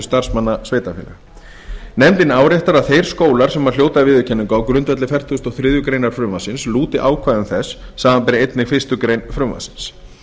starfsmanna sveitarfélaga áréttar nefndin að þeir skólar sem hljóta viðurkenningu á grundvelli fertugasta og þriðju greinar frumvarpsins lúti ákvæðum þess samanber einnig fyrstu grein frumvarpsins